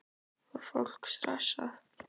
Var fólk stressað?